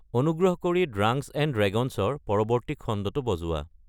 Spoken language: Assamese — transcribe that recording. অনুগ্ৰহ কৰি ড্ৰাংক্চ এণ্ড ড্ৰেগ'ন্চৰ পৰৱৰ্তী খণ্ডটো বজোৱা